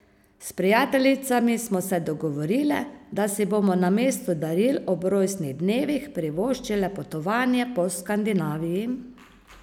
S prijateljicami smo se dogovorile, da si bomo namesto daril ob rojstnih dnevih privoščile potovanje po Skandinaviji.